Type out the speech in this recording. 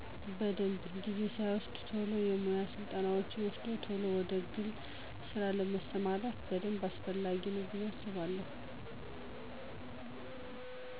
በደንብ። ጊዜ ሳይወስድ ቶሎ የሙያ ስልጠናወችን ወስዶ ቶሎ ወደ ግል ስራ ለመስማራት በደንብ አስፈላጊ ነው ብየ አስባለው።